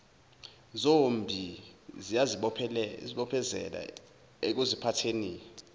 zombi ziyazibophezela ekuziphatheni